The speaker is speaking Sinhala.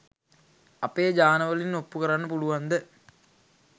අපේ ජානවලින් ඔප්පු කරන්න පුලුවන්ද?